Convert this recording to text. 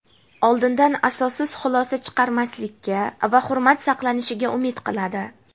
oldindan asossiz xulosa chiqarmaslikka va hurmat saqlanishiga umid qiladi.